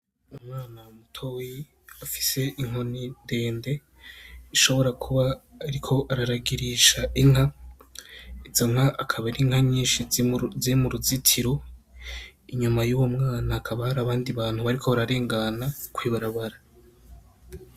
Umwana mutoyi afis'inkoni ndende, biboneka yuko ariyo kuragir'inka. Izo nka akaba arinyinshi ziri muruzitiro inyuma yaho harih'umwana hakaba har'abandi bantu bariko bararengana kw'ibarabara.